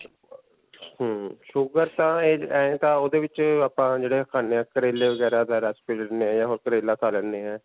ਹਮਮ sugar ਤਾਂ ਐਂ ਤਾਂ ਓਹਦੇ ਵਿਚ ਆਪਾਂ ਜਿਹੜੇ ਖਾਨੇ ਹਾਂ ਕਰੇਲੇ ਵਗੈਰਾ ਦਾ ਰਸ ਪੀ ਲੈਂਦੇ ਹਾਂ ਜਾਂ ਕਰੇਲੇ ਖਾ ਲੈਂਦੇ ਹਾਂ.